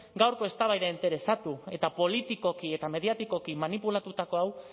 gaurko eztabaida interesatu eta politikoki eta mediatikoki manipulatutako hau